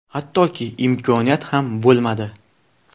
Hattoki imkoniyat ham bo‘lmadi.